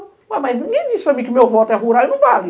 Ué, mas ninguém disse para mim que o meu voto é rural e não vale.